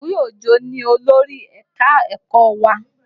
Omowe Òjó ni olórí ẹ̀ka-ẹ̀kọ́ wa.